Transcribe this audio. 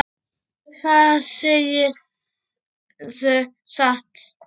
Það segirðu satt.